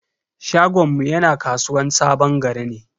Shagonmu yana kasuwan sabon gari ne.